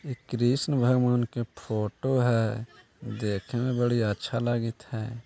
इ कृष्ण भगवान के फोटो है देखेमें बड़ी अच्छा लागेत है।